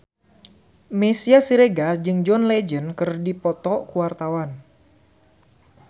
Meisya Siregar jeung John Legend keur dipoto ku wartawan